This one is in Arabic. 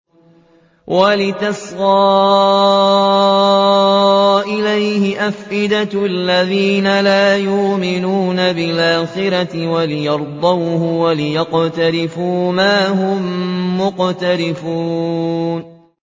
وَلِتَصْغَىٰ إِلَيْهِ أَفْئِدَةُ الَّذِينَ لَا يُؤْمِنُونَ بِالْآخِرَةِ وَلِيَرْضَوْهُ وَلِيَقْتَرِفُوا مَا هُم مُّقْتَرِفُونَ